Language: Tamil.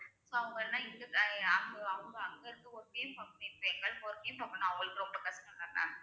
அவங்க எல்லாம் இங்க ஆஹ் அங்க அவுங்க அங்க இருந்து அவங்களுக்கு ரொம்ப கஷ்டம்தானே